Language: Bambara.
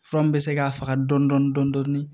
Fura min bɛ se k'a faga dɔɔni dɔɔni